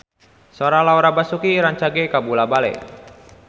Sora Laura Basuki rancage kabula-bale